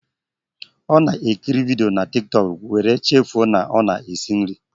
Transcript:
Ọ na ekiri vidio na Tiktọk, wéré chefuo na ọ na-esi nri